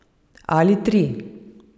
Ali tri.